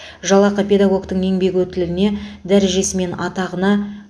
жалақы педагогтің еңбек өтіліне дәрежесі мен атағына